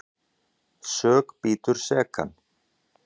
Sök bítur sekan.